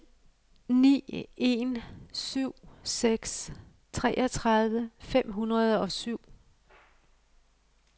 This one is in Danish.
ni en syv seks treogtredive fem hundrede og syv